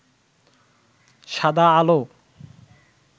সাদা আলো